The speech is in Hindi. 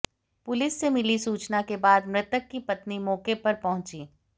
पुलिस से मिली सूचना के बाद मृतक की पत्नी मौके पर पहुंची